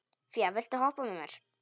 Fía, viltu hoppa með mér?